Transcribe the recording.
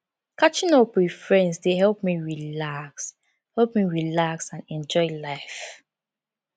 catching up with friends dey help me relax help me relax and enjoy life